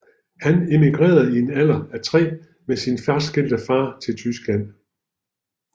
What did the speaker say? Han emigrerede i en alder af tre med sin fraskilte far til Tyskland